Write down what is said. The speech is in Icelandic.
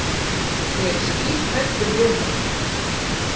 Ég er skíthræddur við hana.